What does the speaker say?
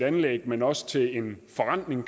anlæg men også til en forrentning